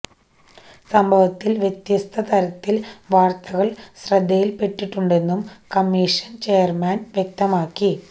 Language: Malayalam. സംഭവത്തില് വ്യത്യസ്ത തരത്തില് വാര്ത്തകള് ശ്രദ്ധയില്പ്പെട്ടിട്ടുണ്ടെന്നും കമ്മീഷന് ചെയര്മാന് വ്യക്തമാക്കി